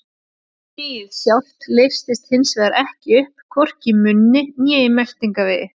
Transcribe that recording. Gúmmíið sjálft leysist hins vegar ekki upp, hvorki í munni né í meltingarvegi.